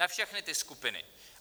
Na všechny ty skupiny.